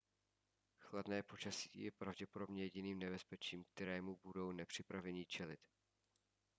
chladné počasí je pravděpodobně jediným nebezpečím kterému budou nepřipravení čelit